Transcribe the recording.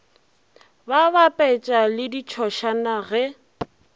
ba bapetša le ditšhošane ge